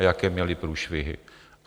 A jaké měli průšvihy.